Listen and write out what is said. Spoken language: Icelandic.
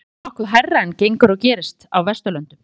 þetta er nokkuð hærra en gengur og gerist á vesturlöndum